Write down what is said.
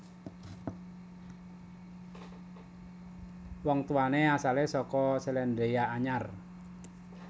Wong tuwané asalé saka Sélandia Anyar